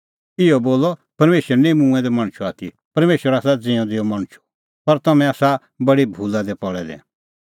इहअ बी बोलअ परमेशर निं मूंऐं दै मणछो आथी परमेशर आसा ज़िऊंदै मणछो पर तम्हैं आसा बडी भूला दी पल़ै दै